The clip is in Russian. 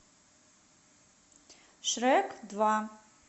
шрек два